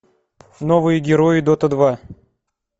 новые герои дота два